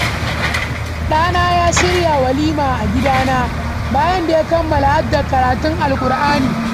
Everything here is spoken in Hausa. Ɗana ya shirya walima a gidana, bayan da ya kammala haddar karatun Alkur'ani.